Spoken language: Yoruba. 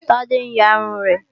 Tádé ń ya irun rẹ̀